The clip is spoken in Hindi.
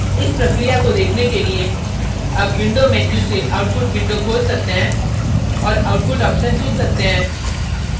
इस प्रक्रिया को देखने के लिए आप window menu से output window खोल सकते हैं और output option चुन सकते हैं